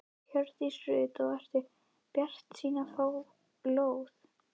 Hjördís Rut: Og ertu bjartsýn á að fá lóð?